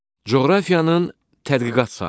Coğrafiyanın tədqiqat sahələri.